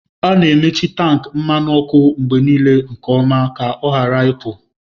A na-emechi tankị mmanụ ọkụ mgbe niile nke ọma ka ọ ghara ịpụ.